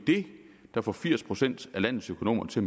det der får firs procent af landets økonomer til